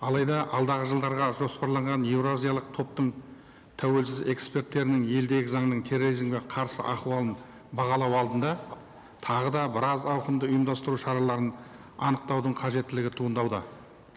алайда алдағы жылдарға жоспарланған еуразиялық топтың тәуелсіз эксперттерінің елдегі заңның терроризмге қарсы ахуалын бағалау алдында тағы да біраз ауқымды ұйымдастыру шараларын анықтаудың қажеттілігі туындауда